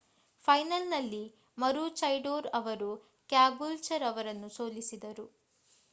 ಫೈನಲ್‌ನಲ್ಲಿ ಮರೂಚೈಡೋರ್ ಅವರು ಕ್ಯಾಬೂಲ್ಚರ್ ಅವರನ್ನು ಸೋಲಿಸಿದರು